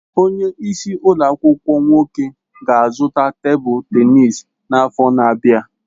Onye isi ụlọ akwụkwọ nwoke ga-azụta tebụl tenisi n'afọ na-abịa.